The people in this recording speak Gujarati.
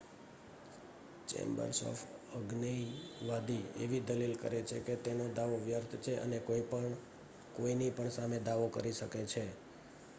"ચેમ્બર્સ એક અજ્ઞેયવાદી એવી દલીલ કરે છે કે તેનો દાવો "વ્યર્થ" છે અને "કોઈપણ કોઈની પણ સામે દાવો કરી શકે છે.""